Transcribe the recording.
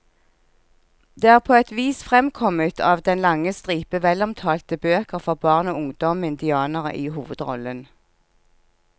Det er på et vis fremkommet av den lange stripe velomtalte bøker for barn og ungdom med indianere i hovedrollen.